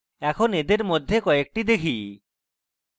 এখন এদের মধ্যে কয়েকটি দেখি